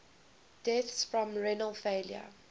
deaths from renal failure